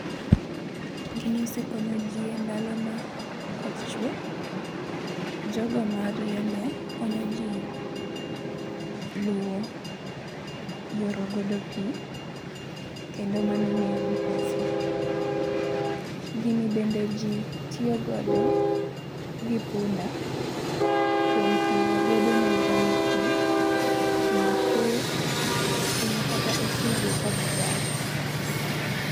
Gini osekonyo jii e ndalo ma koth chwe. Jogo mariembe konyo jii luwo yoro godo pii kendo mano miyo gi pesa. Gini bende jii tiyo godo gi punda kuom ting'o godo ne dhano pii ting'o kuoyo ting'o kata osigo ka jii dar.